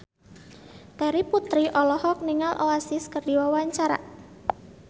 Terry Putri olohok ningali Oasis keur diwawancara